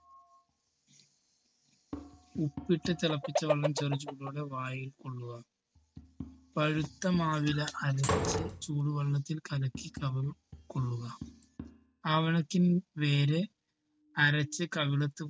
ഉപ്പിട്ട് തിളപ്പിച്ച വെള്ളം ചെറു ചൂടോടെ വായിൽ കൊള്ളുക പഴുത്ത മാവില അരച്ച് ചൂടുവെള്ളത്തിൽ കലക്കി കവിളിൽ കൊള്ളുക. ആവണക്കിൻ വേര് അരച്ച് കവിളത്ത്